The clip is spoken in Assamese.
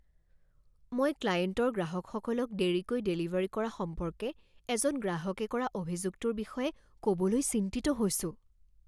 মই ক্লায়েণ্টৰ গ্ৰাহকসকলক দেৰিকৈ ডেলিভাৰী কৰা সম্পৰ্কে এজন গ্ৰাহকে কৰা অভিযোগটোৰ বিষয়ে ক'বলৈ চিন্তিত হৈছোঁ।